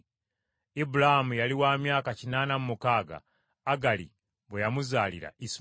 Ibulaamu yali wa myaka kinaana mu mukaaga Agali bwe yamuzaalira Isimayiri.